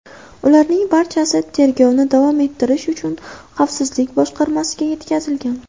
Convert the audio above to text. Ularning barchasi tergovni davom ettirish uchun Xavfsizlik boshqarmasiga yetkazilgan.